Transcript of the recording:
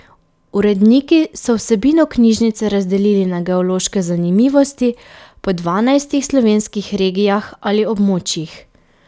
Uredniki so vsebino knjižice razdelili na geološke zanimivosti po dvanajstih slovenskih regijah ali območjih.